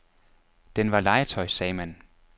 Den var legetøj, sagde man.